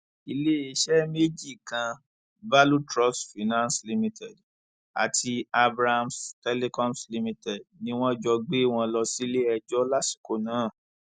iléeṣẹ méjì kan value trust finance limited àti abrahams telcoms limited ni wọn jọ gbé wọn lọ síléẹjọ lásìkò náà